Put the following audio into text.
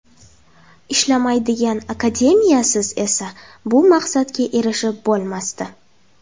Ishlamaydigan akademiyasiz esa bu maqsadga erishib bo‘lmasdi.